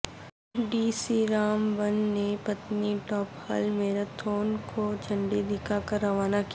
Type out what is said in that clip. D C Ramban نے Patnitop hill marathon کو جھنڈی دکھا کرروانہ کیا